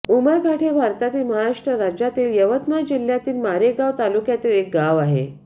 उमरघाट हे भारतातील महाराष्ट्र राज्यातील यवतमाळ जिल्ह्यातील मारेगांव तालुक्यातील एक गाव आहे